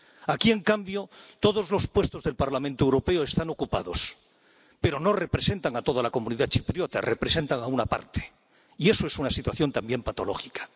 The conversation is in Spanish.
Aquí, en cambio, todos los puestos del Parlamento Europeo están ocupados, pero no representan a toda la comunidad chipriota, representan a una parte, y eso es una situación también patológica.